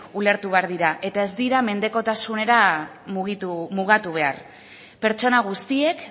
ulertu behar dira eta ez dira mendekotasunera mugatu behar pertsonak guztiek